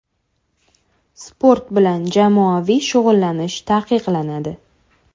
Sport bilan jamoaviy shug‘ullanish taqiqlanadi.